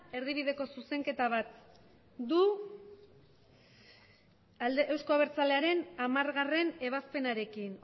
erdibideko zuzenketa bat du euzko abertzalearen hamargarrena ebazpenarekin